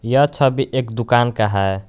यह छवि एक दुकान का है।